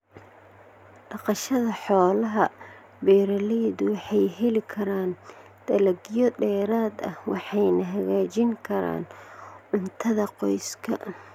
Dhaqashada xoolaha, beeralaydu waxay heli karaan dalagyo dheeraad ah waxayna hagaajin karaan cuntada qoyska.